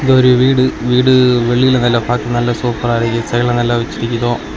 இது ஒரு வீடு வீடு வெளில நல்லா பாக்க நல்லா சூப்பர் அ இருக்கு சைடுல எல்லா வெச்சுருக்குரோ.